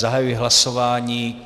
Zahajuji hlasování.